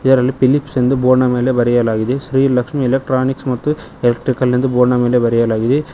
ಇದರಲ್ಲಿ ಫಿಲಿಪ್ಸ್ ಎಂದು ಬೋರ್ಡ್ನ ಮೇಲೆ ಬರೆಯಲಾಗಿದೆ ಶ್ರೀ ಲಕ್ಷ್ಮಿ ಎಲೆಕ್ಟ್ರಾನಿಕ್ಸ್ ಮತ್ತು ಎಲೆಕ್ಟ್ರಿಕಲ್ ಎಂದು ಬೋರ್ಡ್ನ ಮೇಲೆ ಬರೆಯಲಾಗಿದೆ.